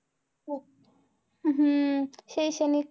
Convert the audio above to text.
हम्म शैक्षणिक